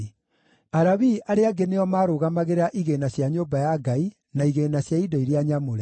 Alawii arĩa angĩ nĩo maarũgamagĩrĩra igĩĩna cia nyũmba ya Ngai na igĩĩna cia indo iria nyamũre.